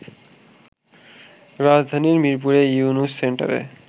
রাজধানীর মিরপুরে ইউনূস সেন্টারে